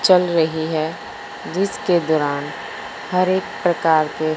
चल रही है जिसके दौरान हर एक प्रकार के--